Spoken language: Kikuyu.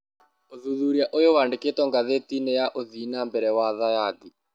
Ũthuthuria ũyũ wandĩkĩtwo ngathĩtinĩ ya ũthii na mbele wa thayathi.